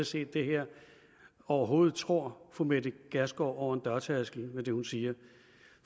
set det her overhovedet tror fru mette gjerskov over en dørtærskel med det hun siger